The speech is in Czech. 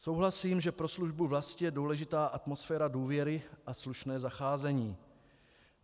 Souhlasím, že pro službu vlasti je důležitá atmosféra důvěry a slušné zacházení.